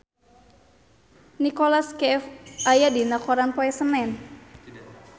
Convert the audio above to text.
Nicholas Cafe aya dina koran poe Senen